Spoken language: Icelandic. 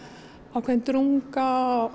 ákveðin drunga og